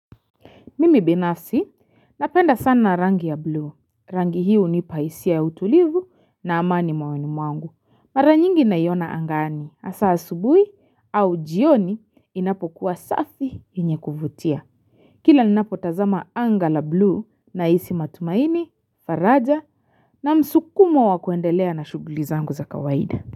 Mimi binafsi, napenda sana rangi ya blue. Rangi hiyo hunipa hisia ya utulivu na amani moyoni mwangu. Mara nyingi naiona angani. Hasa asubuhi au jioni inapokuwa safi yenye kuvutia. Kila ninapotazama anga la blue nahisi matumaini, faraja na msukumo wa kuendelea na shughuli zangu za kawaida.